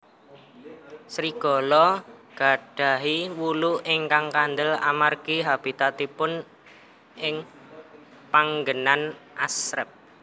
Serigala gadahi wulu ingkang kandel amargi habitatipun ing panggenan asrep